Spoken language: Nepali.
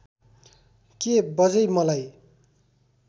के बज्यै मलाई